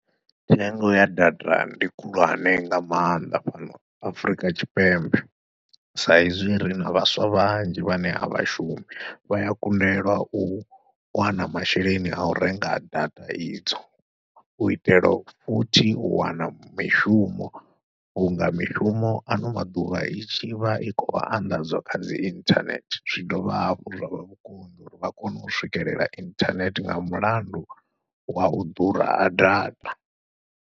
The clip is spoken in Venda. Thengo ya data ndi khulwane nga maanḓa fhano Afrika Tshipembe, sa izwi rina vhaswa vhanzhi vhane avha shumi vha ya kundelwa u wana masheleni au renga data idzo, u itela futhi u wana mishumo vhunga mishumo ano maḓuvha i tshi vha i khou anḓadzwa kha dzi inthanethe zwi dovha hafhu zwavha vhukonḓi uri vha kone u swikelela inthanethe nga mulandu wau ḓura ha data.